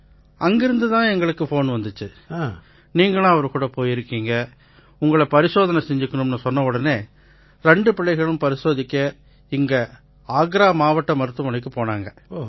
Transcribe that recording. அங்கிருந்து தான் எங்களுக்கு ஃபோன் வந்திச்சு நீங்களும் அவருகூட போயிருக்கீங்க உங்களை பரிசோதனை செஞ்சுக்குங்கன்னு சொன்னவுடனே ரெண்டு பிள்ளைகளும் பரிசோதிச்சுக்க இங்க ஆக்ரா மாவட்ட மருத்துவமனைக்குப் போனாங்க